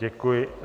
Děkuji.